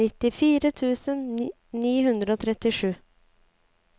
nittifire tusen ni hundre og trettisju